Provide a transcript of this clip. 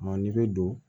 n'i bɛ don